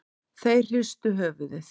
Þeir hristu höfuðið.